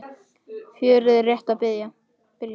Fjörið er rétt að byrja.